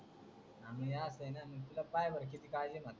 मी असन तर पहा बरं तुला किती काळजी ये